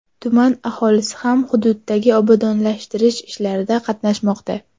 Tuman aholisi ham hududdagi obodonlashtirish ishlarida qatnashmoqda.